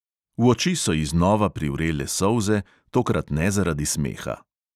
V oči so ji znova privrele solze, tokrat ne zaradi smeha.